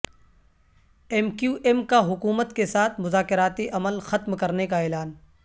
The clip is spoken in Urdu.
ایم کیو ایم کا حکومت کے ساتھ مذاکراتی عمل ختم کرنے کا اعلان